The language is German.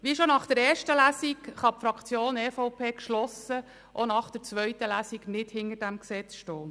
Wie schon nach der ersten Lesung kann die EVP-Fraktion auch nach der zweiten Lesung geschlossen nicht hinter diesem Gesetz stehen.